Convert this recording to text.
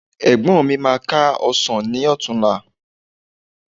Ẹ̀gbọ́n mi máa ká ọsàn ní ọ̀tunla